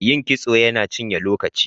Yin kitso yana cinye lokaci.